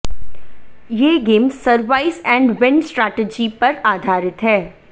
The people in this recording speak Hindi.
ये game survive and win strategy पर आधारित है